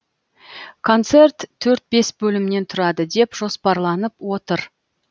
концерт төрт бес бөлімнен тұрады деп жоспарланып отыр